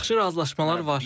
Artıq yaxşı razılaşmalar var.